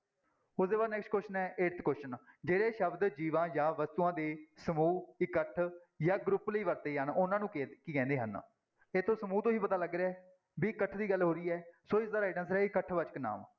ਉਹਦੇ ਬਾਅਦ next question ਹੈ eighth question ਜਿਹੜੇ ਸ਼ਬਦ ਜੀਵਾਂ ਜਾਂ ਵਸਤੂਆਂ ਦੇ ਸਮੂਹ ਇਕੱਠ ਜਾਂ group ਲਈ ਵਰਤੇ ਜਾਣ, ਉਹਨਾਂ ਨੂੰ ਕੀ ਕੀ ਕਹਿੰਦੇ ਹਨ, ਇਹਤੋਂ ਸਮੂਹ ਤੋਂ ਹੀ ਪਤਾ ਲੱਗ ਰਿਹਾ ਵੀ ਇਕੱਠ ਦੀ ਗੱਲ ਹੋ ਰਹੀ ਹੈ ਸੋ ਇਸਦਾ right answer ਹੈ ਇਕੱਠ ਵਾਚਕ ਨਾਂਵ।